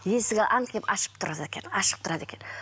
есігі аңқиып ашық тұрады екен ашық тұрады екен